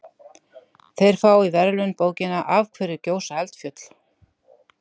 þeir fá í verðlaun bókina af hverju gjósa eldfjöll